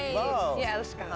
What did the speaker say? ég elska